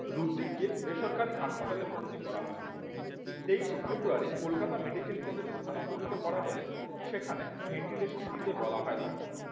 রুদ্রিক কে বেসরকারি হাসপাতালে ভর্তি করা হয়। তেইশ শে ফেব্রুয়ারি কলকাতা medical কলেজে স্থানান্তরিত করা হলে সেখানে ventilation দিতে বলা হয় তাকে